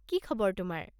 কি খবৰ তোমাৰ?